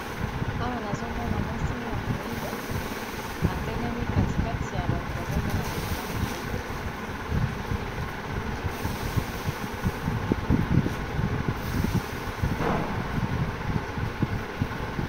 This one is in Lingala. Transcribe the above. Awa nazomona mwasi ya moyindo atelemi kati kati ya bato bazo monana malamu te.